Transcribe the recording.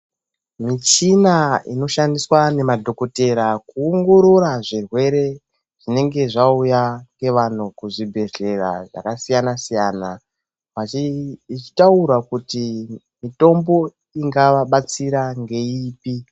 Michina inoshandiswa nemadhokotera kuongorora zvirwere zvinenge zvauya nevanhu kuzvibhedhlera zvakasiyana siyana ichitaura kuti mitombo ingavabatsira ngeipi.